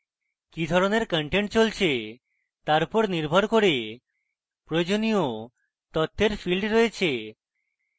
কি ধরনের content চলছে তার নির্ভর করে প্রয়োজনীয় তথ্যের fields রয়েছে